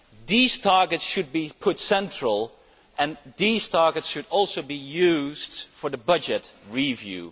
These targets should be given a central place and these targets should also be used for the budget review.